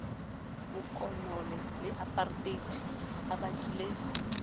bokolone le apareteite a bakile